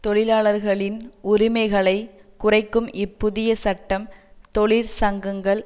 தொழிலாளர்களின் உரிமைகளை குறைக்கும் இப்புதிய சட்டம் தொழிற்சங்கங்கள்